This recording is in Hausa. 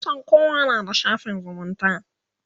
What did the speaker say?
kusan kowa na da shafin zumunta